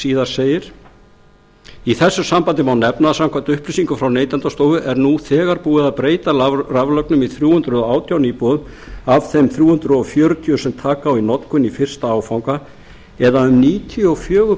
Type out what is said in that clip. síðar segir í þessu sambandi ár efna að samkvæmt upplýsingum frá neytendastofu er nú þegar búið að breyta raflögnum í þrjú hundruð og átján íbúðir af þeim þrjú hundruð fjörutíu sem taka á í notkun í fyrsta áfanga eða um níutíu og fjögur